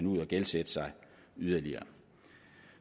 ud at gældsætte sig yderligere